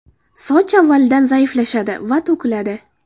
Soch avvalgidan zaiflashadi va to‘kiladi.